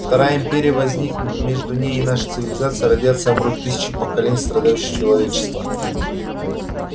вторая империя возникнет но между ней и нашей цивилизацией родятся и умрут тысячи поколений страдающего человечества